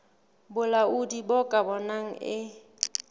bolaodi bo ka bonang e